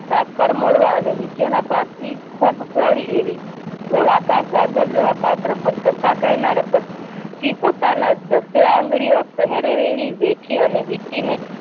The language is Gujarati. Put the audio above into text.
સાંકળ મોડવા અને નીચેના ભાગ થી ખૂબ પહોળી એવી ગોળાકાર ગાગર જેવા પાત્ર પર કથા કહેનારા પોતાના દસે આંગળી ઓ પહેરેલી વેઠી અને વિટી ને